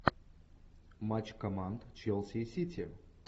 матч команд челси и сити